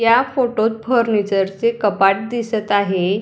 या फोटोत फर्निचर चे कपाट दिसत आहे.